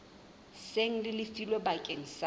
seng le lefilwe bakeng sa